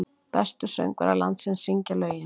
Bestu söngvarar landsins syngja lögin